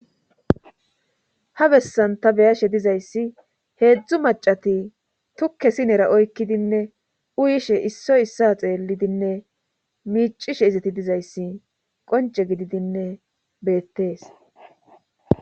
ha bessan ta beyashe dizayssi heedzdzu macati tukke sinera oykkidinne uyishe issoy issa xeellidinne miicishe izati dizayssi qonce gididinne beettees